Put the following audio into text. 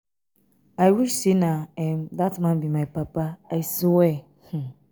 i wish say na um dat man be my papa i swear um. um